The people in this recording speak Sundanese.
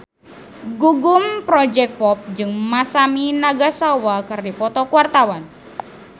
Gugum Project Pop jeung Masami Nagasawa keur dipoto ku wartawan